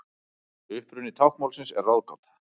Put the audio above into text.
Uppruni táknmálsins er ráðgáta.